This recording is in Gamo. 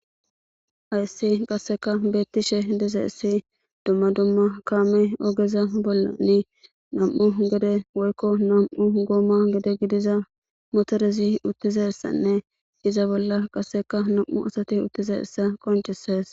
Hayssi qasseka beettishe dize issi dumma dumma kaame ogeza bolla ni nam7u gede woykko nam7u gooma gede gidiza motorezi uttizessanne iza bolla qasseka nam7u asati uttize issa qonchisees.